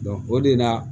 o de la